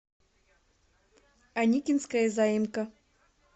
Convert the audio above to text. аникинская заимка